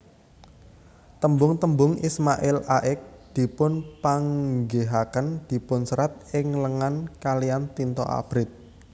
Tembung tembung Ismail Ax dipunpanggihaken dipunserat ing lengan kaliyan tinta abrit